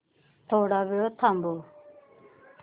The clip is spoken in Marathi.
थोडा वेळ थांबव